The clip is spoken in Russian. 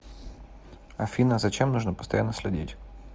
афина за чем нужно постоянно следить